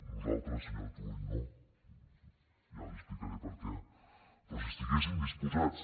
nosaltres senyor turull no i ara li explicaré per què però si estiguessin disposats